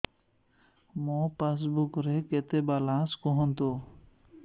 ମୋ ପାସବୁକ୍ ରେ କେତେ ବାଲାନ୍ସ କୁହନ୍ତୁ